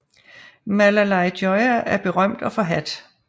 Malalai Joya er berømt og forhadt